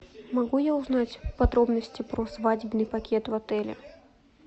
могу я узнать подробности про свадебный пакет в отеле